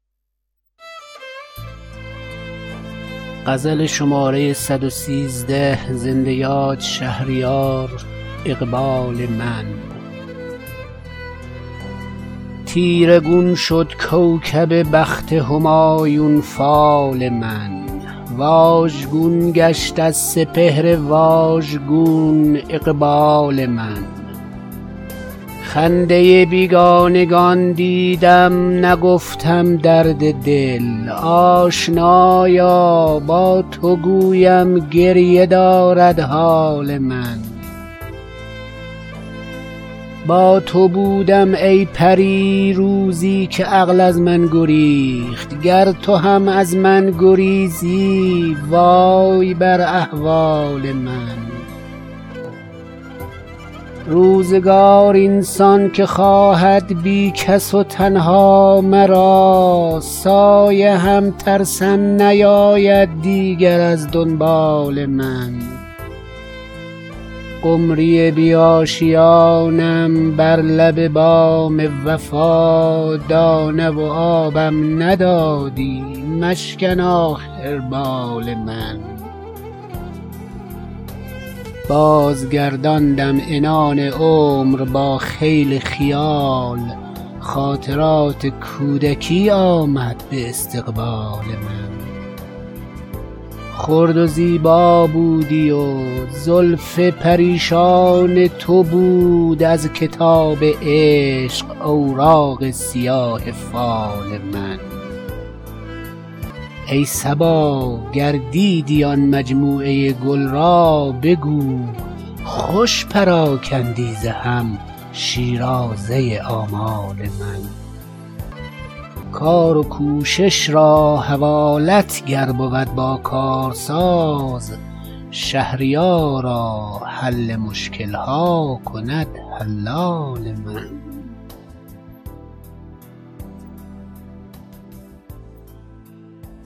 تیره گون شد کوکب بخت همایون فال من واژگون گشت از سپهر واژگون اقبال من خنده بیگانگان دیدم نگفتم درد دل آشنایا با تو گویم گریه دارد حال من با تو بودم ای پری روزی که عقل از من گریخت گر تو هم از من گریزی وای بر احوال من روزگار این سان که خواهد بی کس و تنها مرا سایه هم ترسم نیاید دیگر از دنبال من قمری بی آشیانم بر لب بام وفا دانه و آبم ندادی مشکن آخر بال من بازگرداندم عنان عمر با خیل خیال خاطرات کودکی آمد به استقبال من خرد و زیبا بودی و زلف پریشان تو بود از کتاب عشق اوراق سیاه فال من ای صبا گر دیدی آن مجموعه گل را بگو خوش پراکندی ز هم شیرازه آمال من کار و کوشش را حوالت گر بود با کارساز شهریارا حل مشکل ها کند حلال من